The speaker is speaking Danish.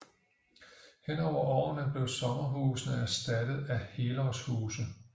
Hen over årene blev sommerhusene erstattet af helårshuse